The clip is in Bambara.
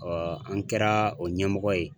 an kɛra o ɲɛmɔgɔ ye.